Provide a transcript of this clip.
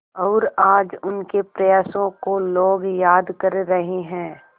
और आज उनके प्रयासों को लोग याद कर रहे हैं